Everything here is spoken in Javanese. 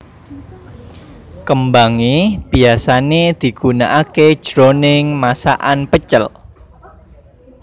Kembangé biyasané digunakaké jroning masakan pecel